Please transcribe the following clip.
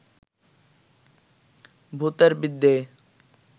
ভূতের বিদ্যেয়